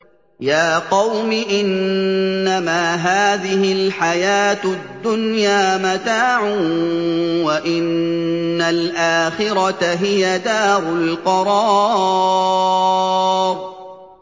يَا قَوْمِ إِنَّمَا هَٰذِهِ الْحَيَاةُ الدُّنْيَا مَتَاعٌ وَإِنَّ الْآخِرَةَ هِيَ دَارُ الْقَرَارِ